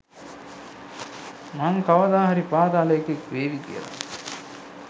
මං කවදා හරි පාතාලේ එකෙක් වේවි කියල.